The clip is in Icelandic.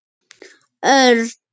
Örn!